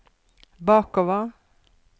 bakover